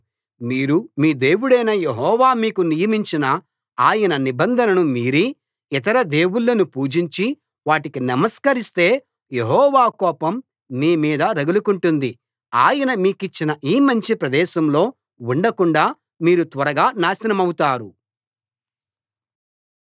మీరు మీ దేవుడైన యెహోవా మీకు నియమించిన ఆయన నిబంధనను మీరి ఇతర దేవుళ్ళను పూజించి వాటికి నమస్కరిస్తే యెహోవా కోపం మీ మీద రగులుకుంటుంది ఆయన మీకిచ్చిన ఈ మంచి ప్రదేశంలో ఉండకుండాా మీరు త్వరగా నాశనమవుతారు